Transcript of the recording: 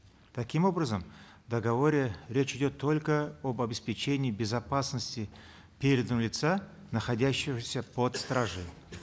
таким образом в договоре речь идет только об обеспечении безопасности переданного лица находящегося под стражей